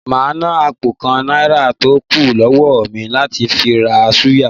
Màá ná àpò kan Náírà tó kù lọ́wó mi láti fi ra súyà